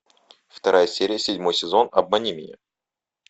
вторая серия седьмой сезон обмани меня